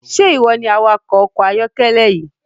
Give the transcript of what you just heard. Ṣe iwọ ni awakọ ọkọ ayọkẹlẹ yii?